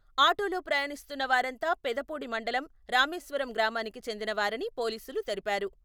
ఆటోలో ప్రయాణిస్తున్న వారంతా పెదపూడి మండలం, రామేశ్వరం గ్రామానికి చెందిన వారని పోలీసులు తెలిపారు.